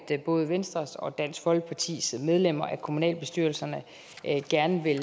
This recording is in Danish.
både venstres og dansk folkepartis medlemmer af kommunalbestyrelserne gerne vil